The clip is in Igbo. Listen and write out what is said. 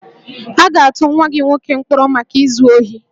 A ga-atụ nwa gị nwoke mkpọrọ maka izu ohi